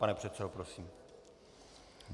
Pane předsedo, prosím.